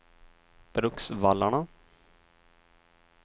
Bruksvallarna